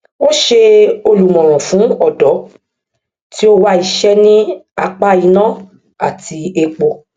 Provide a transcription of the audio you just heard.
ó ṣe olùmọràn fún ọdọ tí ó wá iṣẹ ní apá iná àti epo